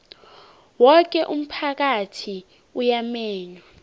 woke umphakathi uyamenywa